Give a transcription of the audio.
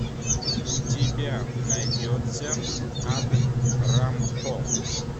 у тебя найдется ад рампо